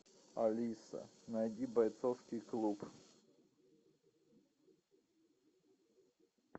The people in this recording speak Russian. алиса найди бойцовский клуб